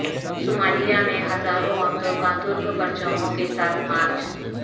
Somalia میں ہزاروں عورتوں کا ترک پرچموں کے ساتھ مارچ